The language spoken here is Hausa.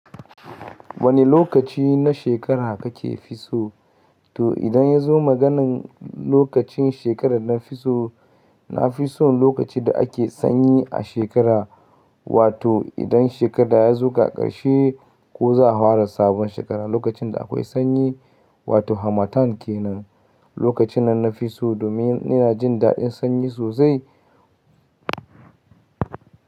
Wani lokaci na shekara, kake fisso? To idan ya zo maganan lokacin shekarar na fiso, na fi son lokacin da ake sanyi a shekara, wato idan shekara ya zuka, ƙarshe, ko za a hwara sabon shekara, lokacin da akwai sanyi, wato harmattan kenan. Lokacin nan na fi so, domin ina jin daɗin sanyi sosai.